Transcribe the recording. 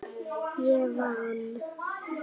Ég vann.